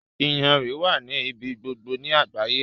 Iyanrìn wà ní ibi gbogbo ni àgbáyé.